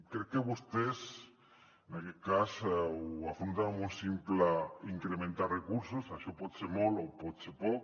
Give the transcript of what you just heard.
crec que vostès en aquest cas ho afronten amb un simple incrementar recursos això pot ser molt o pot ser poc